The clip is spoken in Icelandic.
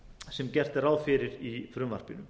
sem gert er ráð fyrir í frumvarpinu